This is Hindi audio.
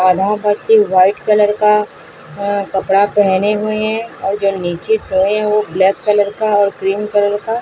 और यह व्हाइट कलर का अ कपड़ा पहने हुए हैं और जो नीचे सोए हैं वो ब्लैक कलर का और क्रीम कलर का--